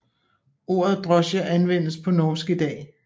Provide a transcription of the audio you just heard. Ordet drosje anvendes på norsk i dag